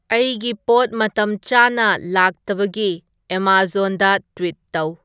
ꯑꯩꯒꯤ ꯄꯣꯠ ꯃꯇꯝ ꯆꯥꯅ ꯂꯥꯛꯇꯕꯒꯤ ꯑꯦꯃꯖꯣꯟꯗ ꯇ꯭ꯋꯤꯠ ꯇꯧ